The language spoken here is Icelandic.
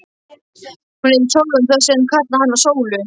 Hún heitir Sólrún þessi, en ég kalla hana Sólu.